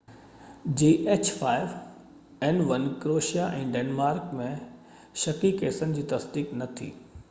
Croatia ۽ Denmark ۾ h5n1 جي شڪي ڪيسن جي تصديق نہ ٿي